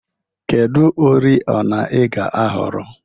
Kedu oriọna ị ga-ahọrọ?